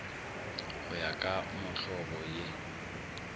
go ya ka mohlobo ye